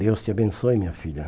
Deus te abençoe, minha filha.